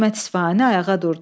Hikmət İsfahani ayağa durdu.